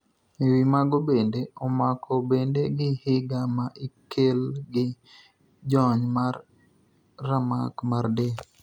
ewi mago bende ,omako bende gi higa ma ikel gi jony mar ramak mar del.